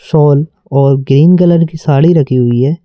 Shawl और green colour की साड़ी रखी हुई है।